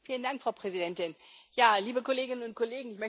Frau Präsidentin, liebe Kolleginnen und Kollegen!